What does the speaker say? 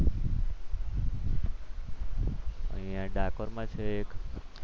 અહીંયા ડાકોરમાં છે એક.